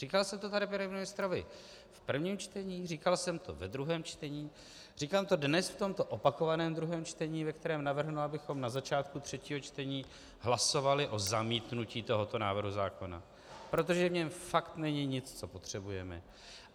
Říkal jsem to tady panu ministrovi v prvním čtení, říkal jsem to ve druhém čtení, říkám to dnes v tomto opakovaném druhém čtení, ve kterém navrhnu, abychom na začátku třetího čtení hlasovali o zamítnutí tohoto návrhu zákona, protože v něm fakt není nic, co potřebujeme.